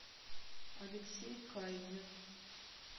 алексей кайзер